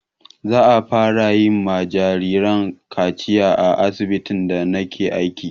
Za'a fara yi wa jarirai kaciya a asibitin da na ke aiki